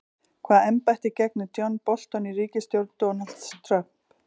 Hvaða embætti gegnir John Bolton í ríkisstjórn Donalds Trump?